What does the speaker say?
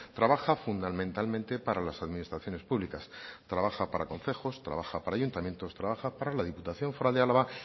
trabaja fundamentalmente para las administraciones públicas trabaja para concejos trabaja para ayuntamientos trabaja para diputación foral de álava